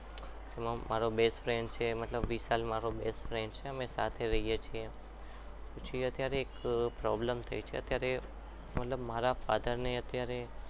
માં મારો best friend છે મતલબ વિશાલ મારો best friend છે અને સાથે રહીએ છીએ પછી અત્યારે એક problem થાય છે અત્યારે મતલબ મારા father ને અત્યારે